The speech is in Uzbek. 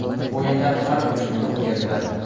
O‘yinlar har uch kunda o‘tkaziladi.